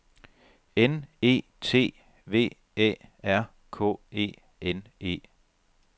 N E T V Æ R K E N E